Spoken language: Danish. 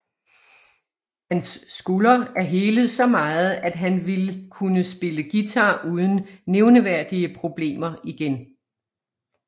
Hans skulder er helet så meget at han vil kunne spille guitar uden nævneværdige problemer igen